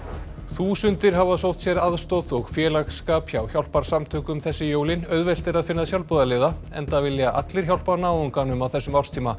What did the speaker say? þúsundir hafa sótt sér aðstoð og félagsskap hjá hjálparsamtökum þessi jólin auðvelt er að finna sjálfboðaliða enda vilja allir hjálpa náunganum á þessum árstíma